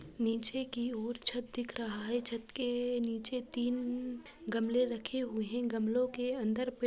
नीचे की ओर छत दिख रहा है छत के ए नीचे तीन गमलें रखे हुए हैं गमलो के अंदर --